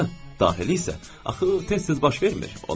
Hə, daxili isə axı tez-tez baş vermir.